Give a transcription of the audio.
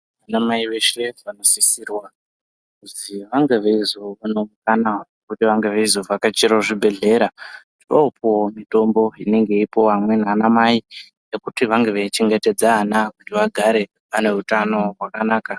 Vanamai veshe vanosisirwa kuzi vange veizowana mukana wekuti vange veizovhakachirawo zvibhehlera vochoopuwawo mitombo inenge yeipuwawo amweni anamai yekuti vange veichengetedza ana kuti vagara vane utano hwakanaka.